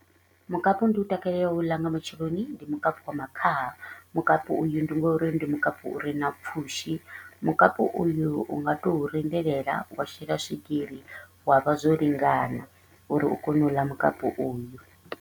Mukapu ndi u takalelaho u u ḽa nga matsheloni ndi mukapu wa makhaha. Mukapu uyu ndi nga uri ndi mukapu u re na pfushi, mukapu uyu u nga to u rindelela wa shela swigiri wa vha zwo lingana uri u kone u ḽa mukapu uyu.